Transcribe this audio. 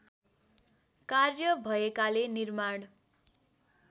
कार्य भएकाले निर्माण